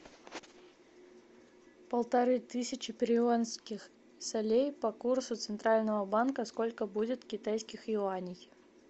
полторы тысячи перуанских солей по курсу центрального банка сколько будет китайских юаней